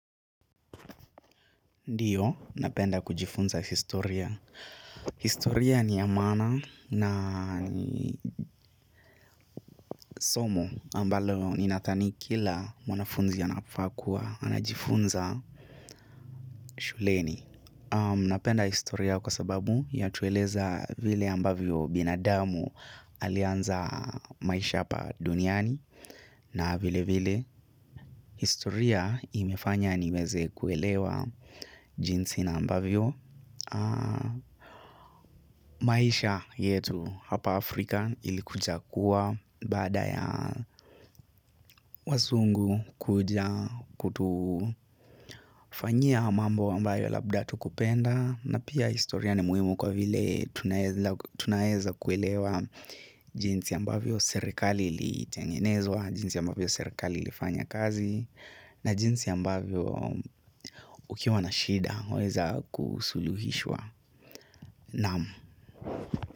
Ndiyo, napenda kujifunza historia. Historia ni ya maana somo ambalo ninadhani kila mwanafunzi anafaa kuwa anajifunza shuleni. Napenda historia kwa sababu ya tueleza vile ambavyo binadamu alianza maisha ya hapa duniani na vile vile. Historia imefanya niweze kuelewa jinsi na ambavyo maisha yetu hapa Africa ilivyokuwa kuwa baada ya wazungu kuja kutufanyia mambo ambayo labda hatukupenda na pia historia ni muhimu kwa vile tunaeza kuelewa jinsi ambavyo serikali ilitengenezwa jinsi ambavyo serikali ilifanya kazi na jinsi ambavyo ukiwa na shida unaeza kusuluhishwa naam.